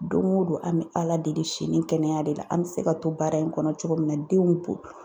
Don o don;, an bɛ ala deli sini kɛnɛya de la, an bɛ se ka to baara in kɔnɔ cogo min na denw